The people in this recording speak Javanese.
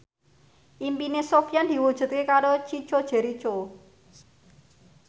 impine Sofyan diwujudke karo Chico Jericho